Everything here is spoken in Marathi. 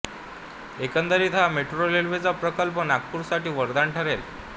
एकंदरीत हा मेट्रो रेल्वेचा प्रकल्प नागपूरसाठी वरदान ठरेल